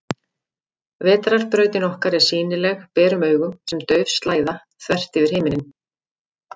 Vetrarbrautin okkar er sýnileg berum augum sem dauf slæða, þvert yfir himinninn.